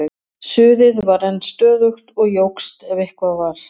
Suðið var enn stöðugt og jókst ef eitthvað var.